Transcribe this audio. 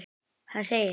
Hann segir